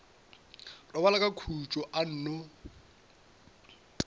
robala ka tšona a nno